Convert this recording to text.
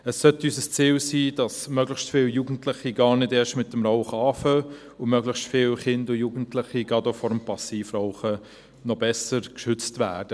Es sollte unser Ziel sein, dass möglichst viele Jugendliche gar nicht erst mit dem Rauchen anfangen und möglichst viele Kinder und Jugendliche gerade auch vor dem Passivrauchen besser geschützt werden.